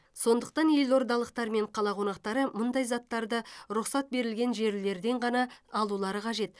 сондықтан елордалықтар мен қала қонақтары мұндай заттарды рұқсат берілген жерлерден ғана алулары қажет